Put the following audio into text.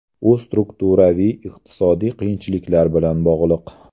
U strukturaviy iqtisodiy qiyinchiliklar bilan bog‘liq.